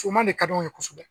man de ka d'anw ye kosɛbɛ.